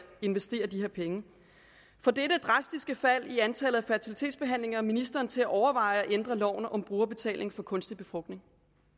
investere de her penge får dette drastiske fald i antallet af fertilitetsbehandlinger ministeren til at overveje at ændre loven om brugerbetaling for kunstig befrugtning